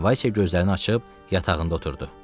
Valsya gözlərini açıb yatağında oturdu.